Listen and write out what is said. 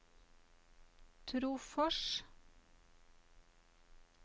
Trofors